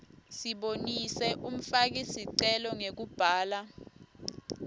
sibonise umfakisicelo ngekubhala